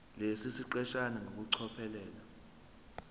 lesi siqeshana ngokucophelela